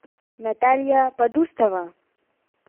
наталья подустова